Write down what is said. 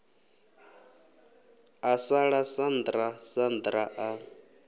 a ḓala sandra sandra a